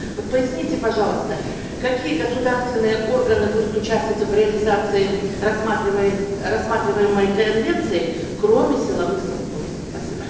вот поясните пожалуйста какие государственные органы будут участвовать в реализации рассматриваемой конвенции кроме силовых структур спасибо